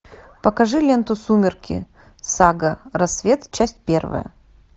покажи ленту сумерки сага рассвет часть первая